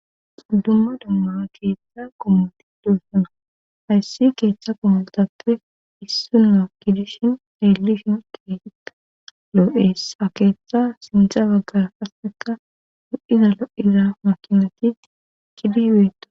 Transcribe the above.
xuddumma dumma keeththa gomoti doossana hayssi keethcha komultappe issunna gidishin leellishin keetikka loo7ees ha keeththa sindza baggar asseka hu7izalo7ira makimatit kidibeto